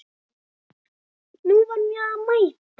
Nú var mér að mæta!